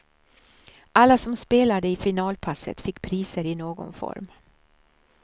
Alla som spelade i finalpasset fick priser i någon form.